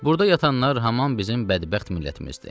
Burda yatanlar haman bizim bədbəxt millətimizdir.